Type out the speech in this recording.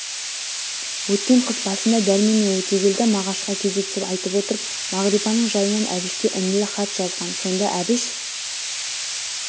өткен қыс басында дәрмен мен өтегелді мағашқа кезектеп айтып отырып мағрипаның жайынан әбішке інілік хат жазған сонда әбіш